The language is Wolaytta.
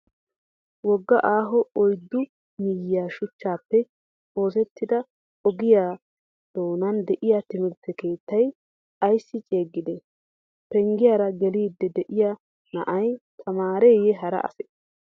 Wogga aaho oyiddu miyye shuchchaappe oosettida ogiyaa doonan de''iyaa timirtte keettay ayissi ceeggidee? Penggiyaara geliddi diyaa na''ayi tamaareeyye hara asee?